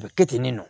A bɛ kɛ ten de nɔ